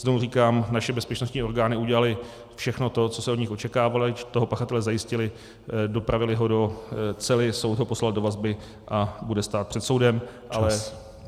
Znovu říkám, naše bezpečnostní orgány udělaly všechno to, co se od nich očekávalo, toho pachatele zajistily, dopravily ho do cely, soud ho poslal do vazby a bude stát před soudem, ale...